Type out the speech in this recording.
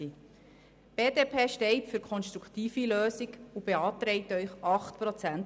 Die BDP steht für eine konstruktive Lösung und beantragt Ihnen eine Kürzung um 8 Prozent.